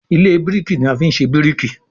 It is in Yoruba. Ilé biriki ní a fí ṣe biriki.